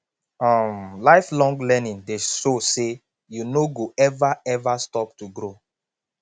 um lifelong learning dey show say you no go ever ever stop to grow